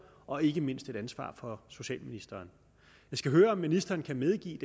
og ikke mindst et ansvar for socialministeren jeg skal høre om ministeren kan medgive